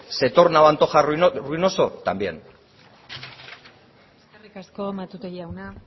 se torna o antoja ruinoso también eskerrik asko matute jauna